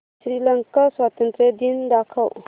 श्रीलंका स्वातंत्र्य दिन दाखव